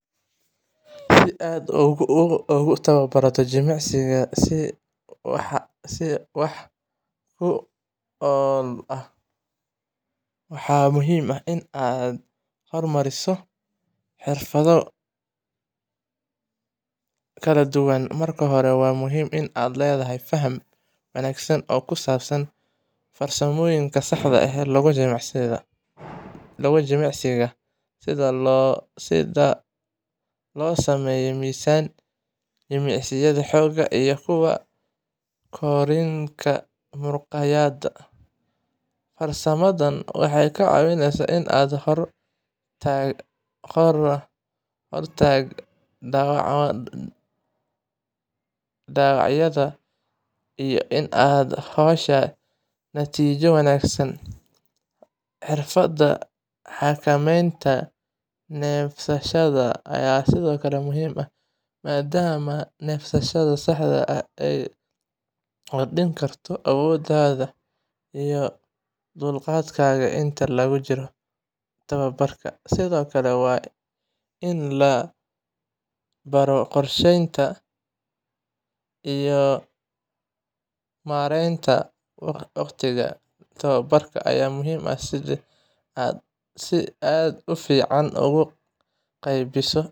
Si aad ugu tababarto jimicsi si wax ku ool ah, waxaa muhiim ah in aad horumariso xirfado kala duwan. Marka hore, waxaa muhiim ah inaad leedahay faham wanaagsan oo ku saabsan farsamooyinka saxda ah ee jimicsiga, sida sida loo sameeyo miisaan, jimicsiyada xoogga, iyo kuwa korriinka muruqyada. Farsamadan waxay ka caawisaa ka hortagga dhaawacyada iyo in aad hesho natiijooyin wanaagsan. Xirfadda xakameynta neefsashada ayaa sidoo kale muhiim ah, maadaama neefsashada saxda ah ay kordhin karto awooddaada iyo dulqaadkaaga inta lagu jiro tababarka. Sidoo kale, in la baro qorsheynta iyo maaraynta waqtiga tababarka ayaa muhiim ah, si aad si fiican ugu qaybiso jimicsiyada.